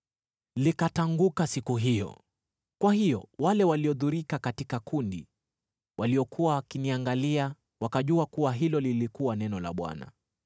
Likatanguka siku hiyo, kwa hiyo wale waliodhurika katika kundi, waliokuwa wakiniangalia wakajua kuwa hilo lilikuwa neno la Bwana .